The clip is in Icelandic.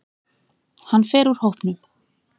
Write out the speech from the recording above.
Hann fer úr hópnum.